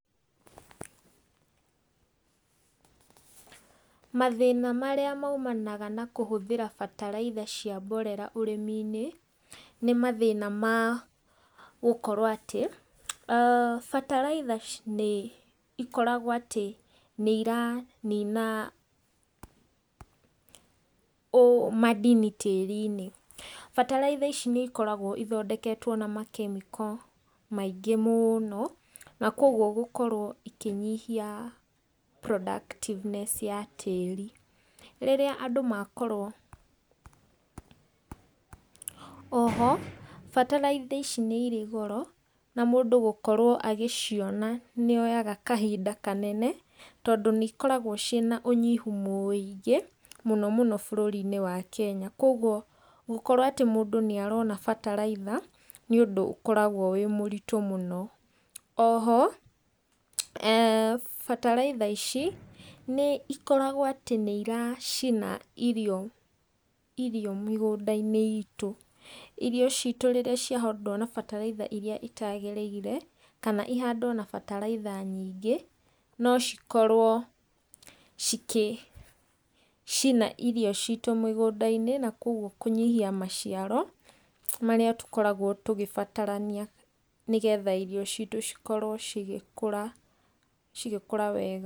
Mathĩna marĩa maũmanaga na kũhũthĩra bataraitha cia mborera ũrĩmi-inĩ nĩ mathĩna ma gũkorwo atĩ, bataraĩtha nĩ ikoragwo atĩ nĩ iranina ũ- madini tĩĩri-inĩ. Bataraitha ici nĩ ikoragwo ithondeketwo na makemiko maingĩ mũno na koguo gũkorwo ikĩnyihia productiveness ya tĩĩri. Rĩrĩa andũ makorwo. O ho bataraitha ici nĩ irĩ goro na mũndũ gũkorwo agĩciona nĩ oyaga kahinda kanene tondũ nĩ ikoragwo ciĩna ũnyihũ mũĩngĩ mũno mũno bũrũri-inĩ wa Kenya koguo gũkorwo atĩ mũndũ nĩ arona bataraitha nĩ ũndũ ũkoragwo wĩ mũritũ mũno. O ho bataraitha ici nĩ ĩkoragwo atĩ nĩ ĩracina irio mĩgũnda-inĩ, itũ irio citũ rĩrĩa ciahandwo na bataraitha iria itagĩrĩire kana ĩhandwo na bataraitha nyingĩ no cikorwo cikĩcina irio citu mĩgũnda-inĩ na kogũo kũnyihia maciaro maria tũkoragwo tũgĩbatarania nĩgetha irio citu cikorwo cigĩkũra wega.